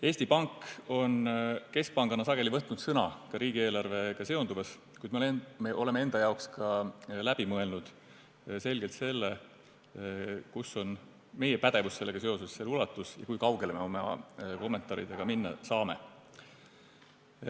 Eesti Pank on keskpangana sageli võtnud sõna riigieelarvega seonduva kohta, kuid me oleme enda jaoks ka selgelt läbi mõelnud selle, kus on meie pädevus sellega seoses, selle ulatus, kui kaugele me oma kommentaaridega minna saame.